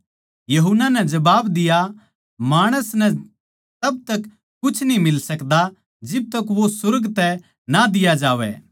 यूहन्ना नै जबाब दिया माणस नै तब तक कुछ न्ही मिल सकता जिब तक वो सुर्ग तै ना दिया जावै